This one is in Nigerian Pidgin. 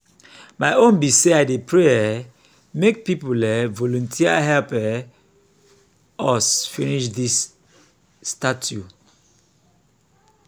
my own be say i dey pray um make people um volunteer help um us finish dis statue